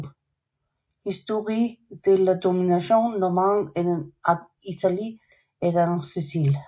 Histoire de la domination normande en Italie et en Sicilie